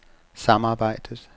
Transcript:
samarbejdet